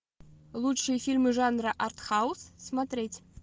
лучшие фильмы жанра арт хаус смотреть